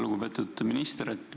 Lugupeetud minister!